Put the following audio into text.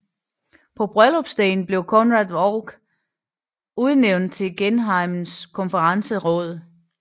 På bryllupsdagen blev Conrad Holck udnævnt til gehejmekonferensråd